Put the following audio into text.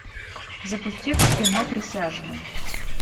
запусти кино присяжные